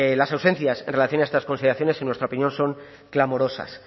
las ausencias en relación a estas consideraciones en nuestra opinión son clamorosas